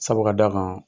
Sabu ka d'a kan